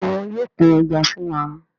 Béèni wón yóò pin Ẹja fún wá.